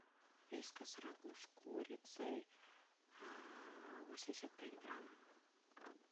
вискас рагу с курицей восемьдесят пять грамм